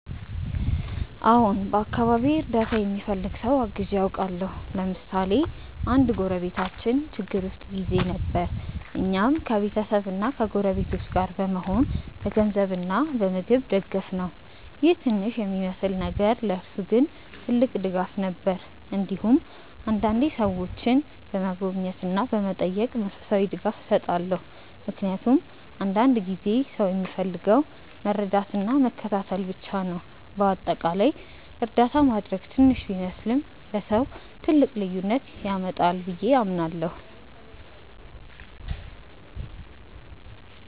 አዎን፣ በአካባቢዬ እርዳታ የሚፈልግ ሰው አግዤ አውቃለሁ። ለምሳሌ አንድ ጎረቤታችን ችግር ውስጥ ጊዜ ነበር፣ እኛም ከቤተሰብና ከጎረቤቶች ጋር በመሆን በገንዘብ እና በምግብ ደገፍነው ይህ ትንሽ የሚመስል ነገር ለእርሱ ግን ትልቅ ድጋፍ ነበር። እንዲሁም አንዳንዴ ሰዎችን በመጎብኘት እና በመጠየቅ መንፈሳዊ ድጋፍ እሰጣለሁ፣ ምክንያቱም አንዳንድ ጊዜ ሰው የሚፈልገው መረዳትና መከታተል ብቻ ነው። በአጠቃላይ እርዳታ ማድረግ ትንሽ ቢመስልም ለሰው ትልቅ ልዩነት ያመጣል ብዬ አምናለሁ።